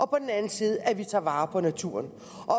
på den anden side tager vare på naturen